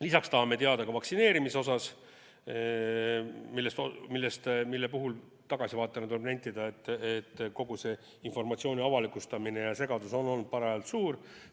Lisaks tahame teada ka vaktsineerimise kohta, mille puhul tagasivaatena tuleb nentida, et kogu see informatsiooni avalikustamine ja segadus on olnud parajalt suur.